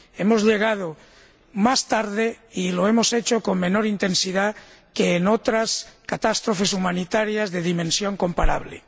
Hemos llegado más tarde y lo hemos hecho con menor intensidad que en otras catástrofes humanitarias de dimensión comparable.